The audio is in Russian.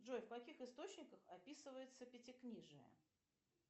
джой в каких источниках описывается пятикнижие